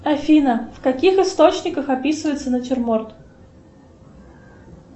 афина в каких источниках описывается натюрморт